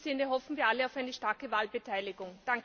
In diesem Sinne hoffen wir alle auf eine starke Wahlbeteiligung.